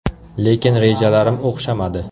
Lekin rejalarim o‘xshamadi.